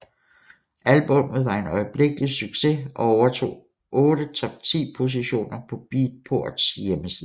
Albummet var en øjeblikkelig succes og overtog otte top 10 positioner på Beatports hjemmeside